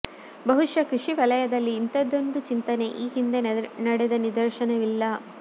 ಬಹುಶಃ ಕೃಷಿ ವಲಯದಲ್ಲಿ ಇಂಥದೊಂದು ಚಿಂತನೆ ಈ ಹಿಂದೆ ನಡೆದ ನಿದರ್ಶನವಿಲ್ಲ